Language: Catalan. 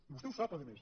i vostè ho sap a més